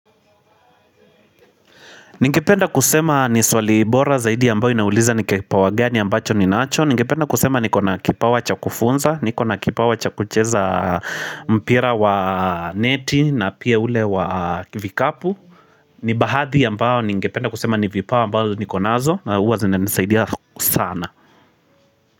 Ningependa kusema ni swali bora zaidi ambao inauliza ni kipawa gani ambacho ninacho Ningependa kusema niko na kipawa cha kufunza, niko na kipawa cha kucheza mpira wa neti na pia ule wa vikapu ni baadhi ambao ningependa kusema ni vipawa ambao niko nazo na huwa zinanisaidia sana.